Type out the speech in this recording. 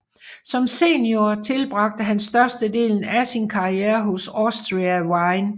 Som senior tilbragte han størstedelen af sin karriere hos Austria Wien